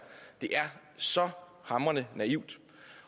så hamrende naivt